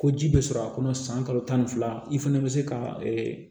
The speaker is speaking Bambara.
Ko ji bɛ sɔrɔ a kɔnɔ san kalo tan fila i fana bɛ se ka